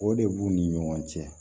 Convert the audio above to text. O de b'u ni ɲɔgɔn cɛ